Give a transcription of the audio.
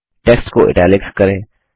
text को italics करें